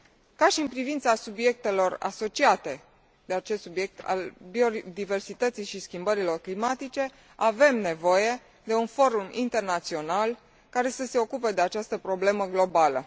Ca și în privința subiectelor asociate acestui subiect al biodiversității și schimbărilor climatice, avem nevoie de un forum internațional care să se ocupe de această problemă globală.